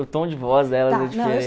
O tom de voz delas é